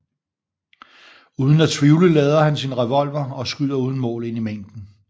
Uden at tvivle lader han sin revolver og skyder uden mål ind i mængden